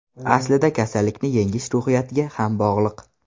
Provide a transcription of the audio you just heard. Aslida kasallikni yengish ruhiyatga ham bog‘liq.